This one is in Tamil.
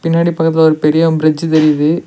பின்னாடி பக்கத்துல ஒரு பெரியாம் ப்ரிட்ஜு தெரியிது.